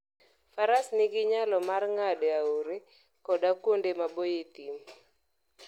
Faras nigi nyalo mar ng'ado aore koda kuonde maboyo e thim.